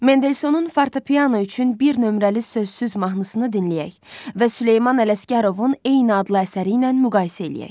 Mendelsonun fortepiano üçün bir nömrəli sözsüz mahnısını dinləyək və Süleyman Ələsgərovun eyni adlı əsəri ilə müqayisə eləyək.